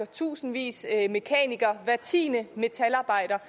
tusindvis af mekanikere hver tiende metalarbejder